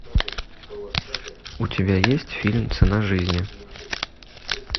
у тебя есть фильм цена жизни